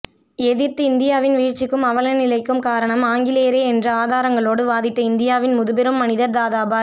எதிர்த்து இந்தியாவின் வீழ்ச்சிக்கும் அவலநிலைக்கும் காரணாம் ஆங்கிலேயரே என்று ஆதாரங்களோடு வாதிட்ட இந்தியாவின் முதுபெரும் மனிதர் தாதாபாய்